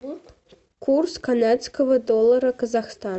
курс канадского доллара казахстан